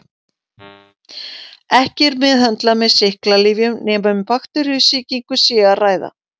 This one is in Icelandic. Ekki er meðhöndlað með sýklalyfjum nema um bakteríusýkingu sé að ræða.